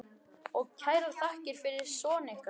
Og kærar þakkir fyrir son ykkar.